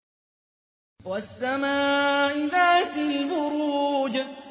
وَالسَّمَاءِ ذَاتِ الْبُرُوجِ